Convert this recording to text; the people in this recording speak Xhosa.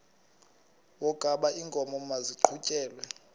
wokaba iinkomo maziqhutyelwe